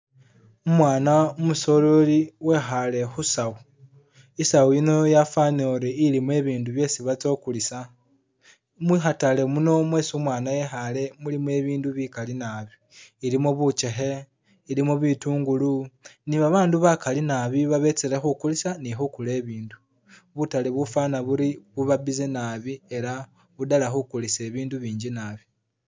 Umwana umusoleri wekhale khusawu, isawu yino yafanire uri ilimo ibindu byesi batsya okulisa, mukhatale muno mwesi umwana ekhale mulimo ibindu bikali nabi, ilimo bukyekhe, ilimo bitungulu ni babandu bakali nabi babetsele khukulisa ni khukula ibindu, butale bufana buri buba busy nabi era buddala khukulisa ibindu binji nabi